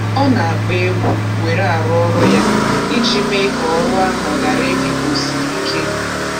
Ọ na-akpọ egwu were arụ ọrụ ya iji mee ka ọrụ ahụ ghara ị dị ka o siri ike.